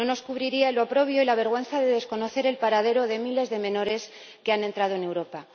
No nos cubriría el oprobio y la vergüenza de desconocer el paradero de miles de menores que han entrado en Europa.